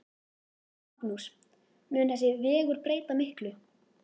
Magnús: Mun þessi vegur breyta miklu?